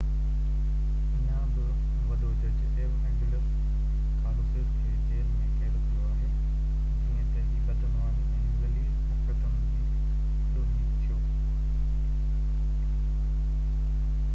اڃا بہ وڏو جج ايوانجيلوس ڪالوسس کي جيل ۾ قيد ڪيو آهي جيئن تہ هي بدعنواني ۽ ذليل حرڪتن جي ڏوهي ٿيو